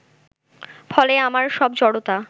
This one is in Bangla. ফলে আমার সব জড়তা